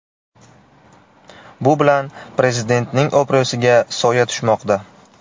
Bu bilan Prezidentning obro‘siga soya tushmoqda.